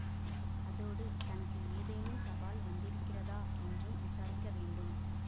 அதோடு தனக்கு ஏதேனும் தபால் வந்திருக்கிறதா என்றும் விசாரிக்க வேண்டும்